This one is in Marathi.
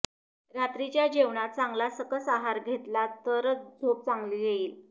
रात्रीच्या जेवणात चांगला सकस आहार घेतलात तर झोप चांगली येईल